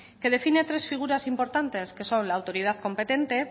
que define tres figuras importantes que son la autoridad competente